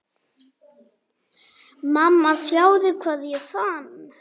Mamma sjáðu hvað ég fann!